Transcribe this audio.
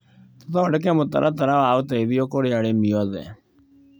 Tũthondeke mũtaratara wa ũteithio kũrĩ arĩmi othe.